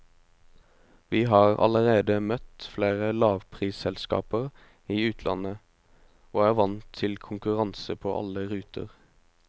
Vi har allerede møtt flere lavprisselskaper i utlandet, og er vant til konkurranse på alle ruter.